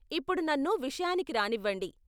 ఇప్పుడు నన్ను విషయానికి రానివ్వండి.